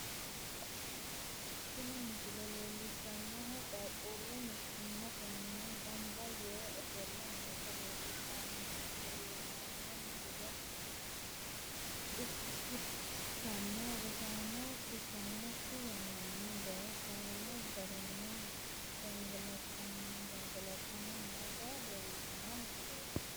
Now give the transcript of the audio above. Tini misile leellishshannohu qaaqqullu mittimmatenni gamba yee ofolle noota leellishshanno misile ikkitanna, rosonsa kisannokki yannanni daye faayyu garinni gangalantanni noota leellishshanno misileeti.